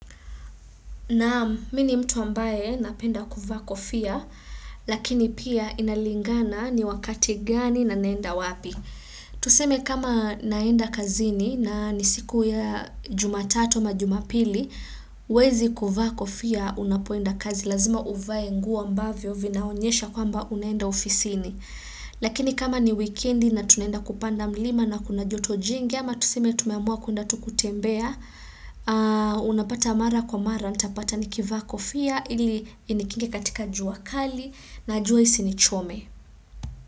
Naam, mimi ni mtu ambaye napenda kuvaa kofia, lakini pia inalingana ni wakati gani na naenda wapi. Tuseme kama naenda kazini na ni diku ya jumatato ama jumapili, huwezi kuva kofia unapoenda kazi. Lazima uvae nguo ambavyo vinaonyesha kwamba unaenda ofisini. Lakini kama ni weekendi na tunaenda kupanda mlima na kuna jotobjingi, ama tuseme tumeamua kuenda tu kutembea, unapata mara kwa mara, natapata nikivaa kofia, ili inikinga katika jua kali, na jua isinichome.